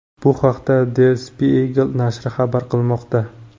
Bu haqda Der Spiegel nashri xabar qilmoqda .